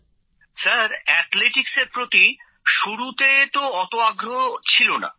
Amlan sir athletics এর প্রতি শুরুতে তো অত আগ্রহ ছিল না